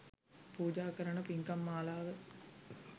පූජා කරන පින්කම් මාලාව